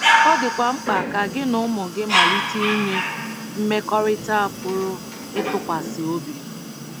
Ọ dịkwa mkpa ka gị na ụmụ gị malite inwe mmekọrịta a pụrụ ịtụkwasị obi.